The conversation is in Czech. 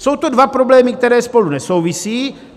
Jsou to dva problémy, které spolu nesouvisí.